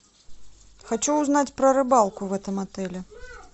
хочу узнать про рыбалку в этом отеле